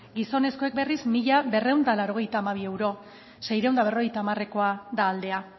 gizonezkoek berriz mila berrehun eta laurogeita hamabi euro seiehun eta berrogeita hamarekoa da aldea